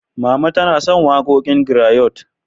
Mama tana son waƙoƙin grayot.